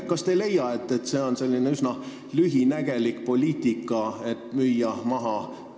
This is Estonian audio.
Kas te ei leia, et see on üsna lühinägelik poliitika?